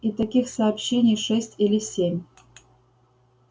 и таких сообщений шесть или семь